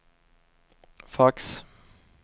fax